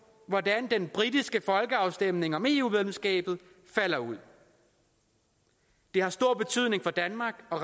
hvordan den britiske folkeafstemning om eu medlemskabet falder ud det har stor betydning for danmark